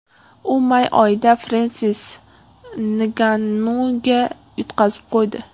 U may oyida Frensis Ngannuga yutqazib qo‘ydi.